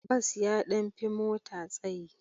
Bas ya ɗan fi mota tsayi.